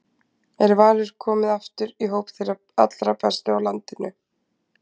Er Valur komið aftur í hóp þeirra allra bestu á landinu?